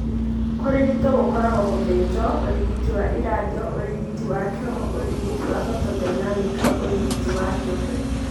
Kũrigito gũkoragwo gũthinjo, ũrigiti wa ĩradiyo, ũrigiti wa chemo, ũrigiti photodynamic na ũrigiti wa kĩũmbe.